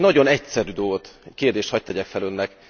Mégis egy nagyon egyszerű dolgot, kérdést hadd tegyek fel Önnek.